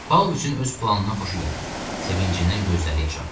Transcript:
Pavloviçin öz planından xoşu gəldi, sevincindən gözləri yaşardı.